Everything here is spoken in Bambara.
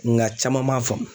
Nga caman m'a faamu